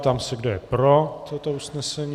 Ptám se, kdo je pro toto usnesení.